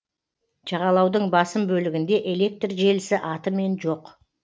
жағалаудың басым бөлігінде электр желісі атымен жоқ